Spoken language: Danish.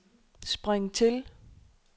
spring til